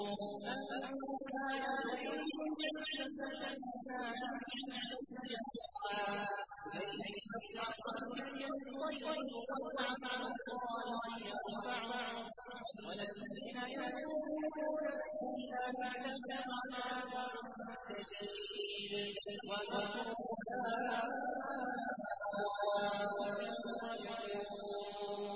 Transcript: مَن كَانَ يُرِيدُ الْعِزَّةَ فَلِلَّهِ الْعِزَّةُ جَمِيعًا ۚ إِلَيْهِ يَصْعَدُ الْكَلِمُ الطَّيِّبُ وَالْعَمَلُ الصَّالِحُ يَرْفَعُهُ ۚ وَالَّذِينَ يَمْكُرُونَ السَّيِّئَاتِ لَهُمْ عَذَابٌ شَدِيدٌ ۖ وَمَكْرُ أُولَٰئِكَ هُوَ يَبُورُ